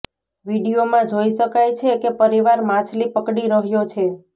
વીડિયોમાં જોઈ શકાય છે કે પરિવાર માછલી પકડી રહ્યો છે